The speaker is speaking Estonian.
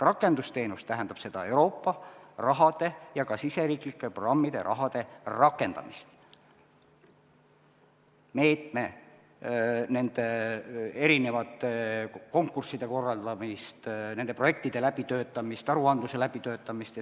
Rakendusteenus tähendab Euroopa raha ja ka riigisiseste programmide raha rakendamist, konkursside korraldamist, projektide läbitöötamist, aruandluse läbitöötamist.